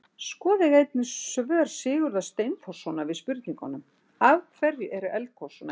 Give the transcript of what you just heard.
Skoðið einnig svör Sigurðar Steinþórssonar við spurningunum: Af hverju eru eldgos svona heit?